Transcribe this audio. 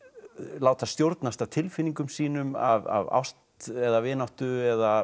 láta stjórnast af tilfinningum sínum af ást eða vináttu eða